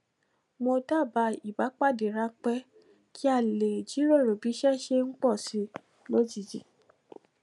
mo dabaa ipdade ranpẹ kí a lè jíròrò bí iṣé ṣe ń pò sí i lójijì